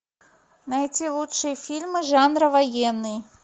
найти лучшие фильмы жанра военный